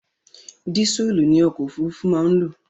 Dísùlù ni ọkọ̀ òfurufú máa ń lò.